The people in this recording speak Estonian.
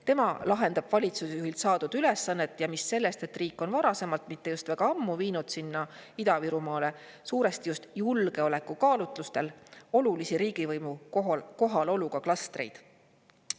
Tema lahendab valitsusjuhilt saadud ülesannet ja mis sellest, et riik on varasemalt, mitte just väga ammu viinud sinna Ida-Virumaale suuresti just julgeolekukaalutlustel olulisi riigivõimu kohaloluga klastreid.